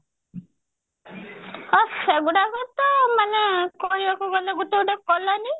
ଓ ସେଗୁଡାକ ତ ମାନେ କହିବାକୁ ଗଲେ ଗୋଟେ ଗୋଟେ colony